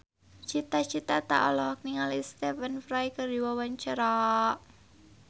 Cita Citata olohok ningali Stephen Fry keur diwawancara